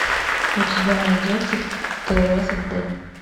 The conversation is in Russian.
у тебя найдется тереза д